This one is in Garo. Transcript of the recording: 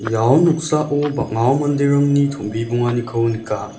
ia noksao bang·a manderangni tom·bimonganiko nika.